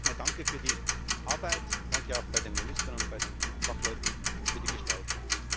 Deswegen zunächst einmal danke für die Arbeit, danke auch den Ministern und den Fachleuten für die Gestaltung.